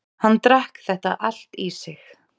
Hann drakk þetta allt í sig